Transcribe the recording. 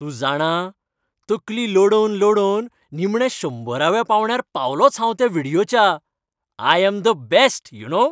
तूं जाणा? तकली लढोवन लढोवन निमणे शंबराव्या पांवड्यार पावलोंच हांव त्या व्हिडियोच्या! I am the best, you no!